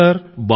అవును సర్